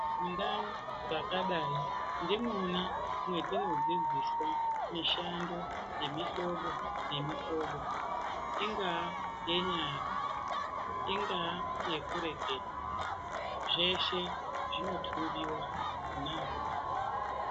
Ndau dzakadaii ndimwona mwetinodzidziswa mishando yemihlobo nemihlobo ingaa yenyara ingaa yekureketa zveshe zvinotumbiwa naa.